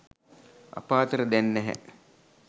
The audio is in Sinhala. අප අතර දැන් නැහැ